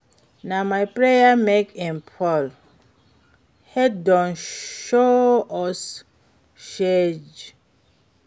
Na my prayer make im fall, heat don show us shege.